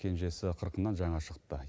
кенжесі қырқынан жаңа шығыпты